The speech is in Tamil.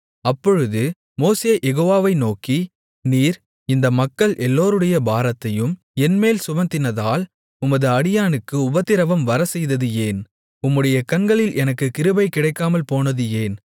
அப்பொழுது மோசே யெகோவாவை நோக்கி நீர் இந்த மக்கள் எல்லோருடைய பாரத்தையும் என்மேல் சுமத்தினதால் உமது அடியானுக்கு உபத்திரவம் வரச்செய்தது ஏன் உம்முடைய கண்களில் எனக்குக் கிருபை கிடைக்காமல் போனது ஏன்